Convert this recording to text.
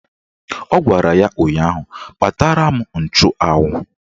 Ọ gwara ya ụnyaahụ "Kpatara m nchụanwụ"!